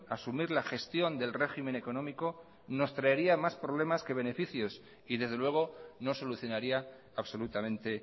asumir la gestión del régimen económico nos traería más problemas que beneficios y desde luego no solucionaría absolutamente